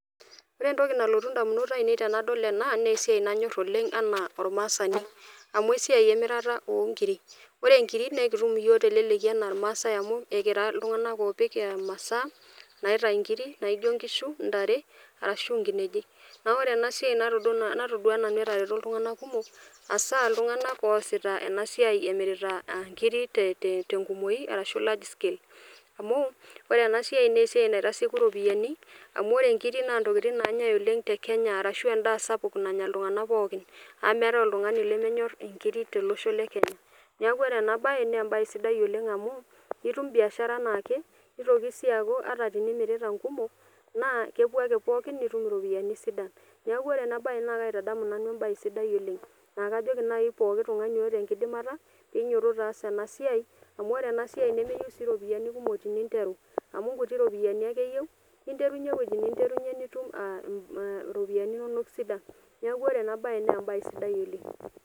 Ore entoki naalotu ndamunot ainei tenadol ena naa esiai nanyor oleng enaa ormaasani , amu esiai emirata onkiri. Ore nkiri naa ekitum iyiook teleleki anaa irmaasae amu ekira iltunganak opik imasaa naitai inkiri naijo inkishu , ntare arashu nkinejik .Naa ore ena siai natodua nanu etareto iltunganak kumok hasaa iltunganak oasita ena siai emirita nkiri te te tenkumoi arashu large scale amu ore ena sia naa esiai naitasieku ropiyiani amu ore nkiri naa ntokitin nanyae oleng tekenya arashu endaa sapuk nanya iltunganak pookin amu meetae oltungani lemenyor inkiri tolosho lekenya . Niaku ore ena bae naa embae sidai oleng amu itum biashara anaake , nitoki sii aaku ata tenimirita nkumok naa kepuo ake pookin nitum iropiyiani sidan . Niaku ore ena bae naa kaitadamu nanu embae sidai oleng naa kajoki nai pooki tungani oota enkidimata pinyototo aas ena siai amu ore ena siai nemeyieu sii iropiyiani kumok teninteru amu inkuti ropiyiani ake eyieu ninterunyie ewueji ninterunyie nitum aa a iropiyiani inonok sidan . Niaku ore ena bae naa embae sidai oleng.